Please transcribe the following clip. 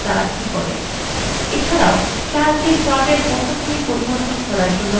এছাড়াও calc এ chart এর পটভূমি পরিবর্তন করার জন্য বিকল্প উপলব্ধ রয়েছে